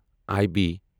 I B